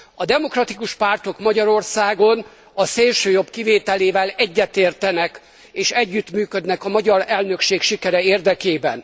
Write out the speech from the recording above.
A demokratikus pártok Magyarországon, a szélsőjobb kivételével, egyetértenek és együttműködnek a magyar elnökség sikerei érdekében.